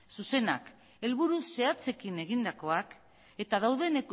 zuzenak helburu zehatzekin egindakoak eta dauden